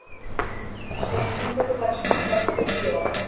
ശരി നിങ്ങക്കൊക്കെ ഭക്ഷണം വല്ലം കിട്ടിയോ